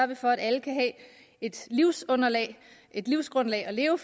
vi for at alle kan have et grundlag at leve